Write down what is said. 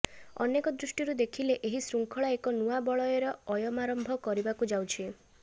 ଅନେକ ଦୃଷ୍ଟିରୁ ଦେଖିଲେ ଏହି ଶୃଙ୍ଖଳା ଏକ ନୂଆ ବଳୟର ଅୟମାରମ୍ଭ କରିବାକୁ ଯାଉଛି